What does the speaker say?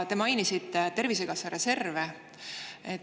Te mainisite Tervisekassa reserve.